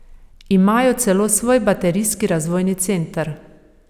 Imajo celo svoj baterijski razvojni center.